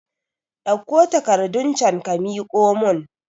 Ɗauko takarɗun can ka miƙo mun